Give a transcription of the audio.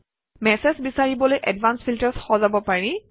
message বিচাৰিবলৈ advanced filters সজাব পাৰি